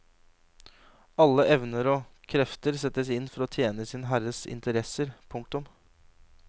Alle evner og krefter settes inn for å tjene sin herres interesser. punktum